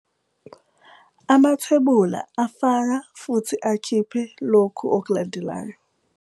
Amathebula afaka futhi akhiphe loku okulandelayo.